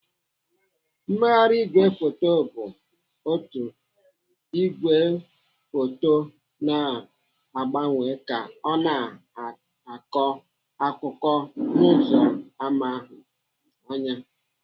Mmegharị ìgwè foto bụ otu igwefoto na-agbanwe ka ọ na-akọ akụkọ n'ụzọ ana ahụ anya.